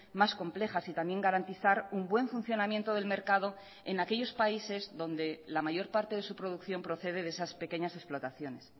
más complejas y también garantizar un buen funcionamiento del mercado en aquellos países dónde la mayor parte de su producción procede de esas pequeñas explotaciones